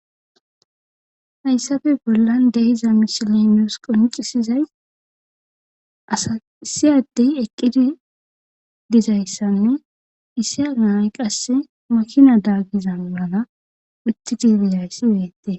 Hayssppe bollan deiza misilenos qoncisizays asa issiyaddey eqqidi dizayssanne issiya naay qasse makina daagizan wulana uti dibizayssi yu7ete.